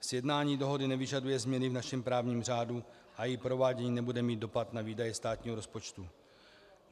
Sjednání dohody nevyžaduje změny v našem právním řádu a její provádění nebude mít dopad na výdaje státního rozpočtu.